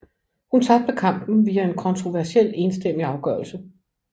Hun tabte kampen via en kontroversiel enstemmig afgørelse